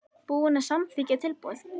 Búinn að samþykkja tilboð?